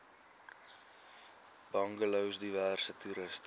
bungalows diverse toerusting